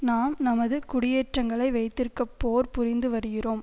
நாம் நமது குடியேற்றங்களை வைத்திருக்க போர் புரிந்து வருகிறோம்